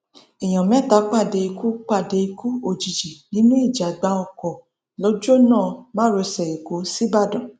èèyàn mẹta pàdé ikú pàdé ikú òjijì nínú ìjàgbá ọkọ lọjọnà márosẹ èkó sìbàdàn